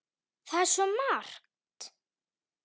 Það var svo margt.